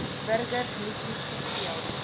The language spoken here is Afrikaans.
burgers liedjies gespeel